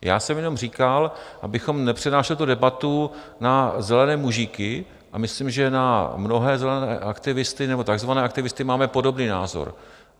Já jsem jenom říkal, abychom nepřenášeli tu debatu na zelené mužíky, a myslím, že na mnohé zelené aktivisty nebo takzvané aktivisty máme podobný názor.